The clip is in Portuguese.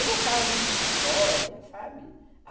Eu gostava muito de história, sabe?